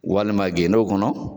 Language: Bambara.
Walima gendo kɔnɔ.